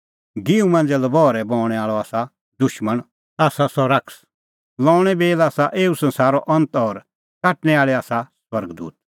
गिंहूं मांझ़ै लबहरै बऊंणैं आल़अ दुशमण आसा सह शैतान लऊंणे बेल आसा एऊ संसारो अंत और काटणै आल़ै आसा स्वर्ग दूत